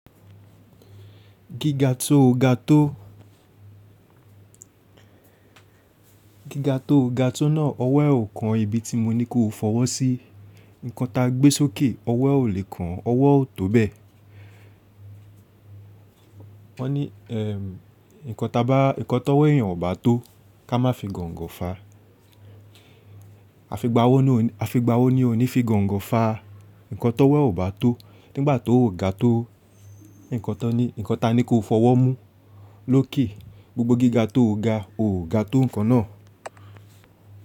Gíga tó o ga tó. Gíga tó o ga tó náà, ọwọ́ ẹ ò kan ibi tí mo ní kó o fọwọ́ sí. Nǹkan ta gbé sókè, ọwọ́ ò lè kan, ọwọ́ ò tó bẹ́ẹ̀. Wọ́n ní, ẹm, nǹkan ta bá, nǹkan tó wẹ́ èèyàn ò bá tó, ká má fi gọ̀ǹgọ̀ fà. A fi gbá owó ni òní fi gọ̀ǹgọ̀ fà a. Nǹkan tó wẹ́ ò bá tó, nígbà tó ò ga tó, nǹkan to ní, nǹkan ta ní kó o fọwọ́ mú lókè, gbogbo gíga tó o ga, o ò ga tó nǹkan náà.